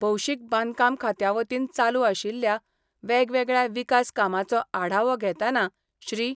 भौशीक बांदकाम खात्यावतीन चालू आशिल्ल्या वेगवेगळया विकास कामाचो आढावो घेताना श्री.